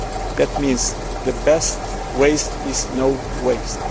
That means the best waste is no